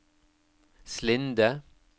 Slinde